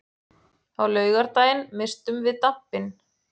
Á laugardaginn misstum við dampinn.